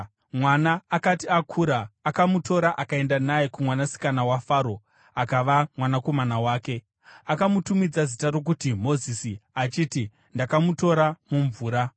Mwana akati akura, akamutora akaenda naye kumwanasikana waFaro akava mwanakomana wake. Akamutumidza zita rokuti Mozisi, achiti, “Ndakamutora mumvura.”